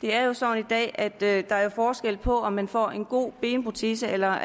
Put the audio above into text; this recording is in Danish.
det er jo sådan i dag at der er forskel på om man får en god benprotese eller